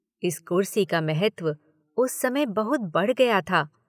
इस कुर्सी का महत्व उस समय बहुत बढ़ गया था।